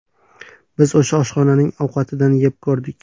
Biz o‘sha oshxonaning ovqatidan yeb ko‘rdik.